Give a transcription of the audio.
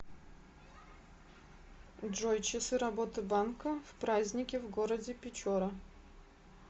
джой часы работы банка в праздники в городе печора